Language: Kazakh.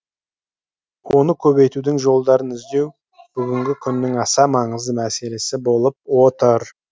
оны көбейтудің жолдарын іздеу бүгінгі күннің аса маңызды мәселесі болып отыр